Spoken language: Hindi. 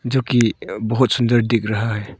जो की अ बहुत सुंदर दिख रहा है।